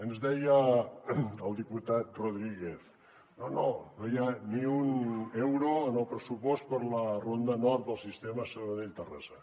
ens deia el diputat rodríguez no no no hi ha ni un euro en el pressupost per a la ronda nord del sistema sabadell terrassa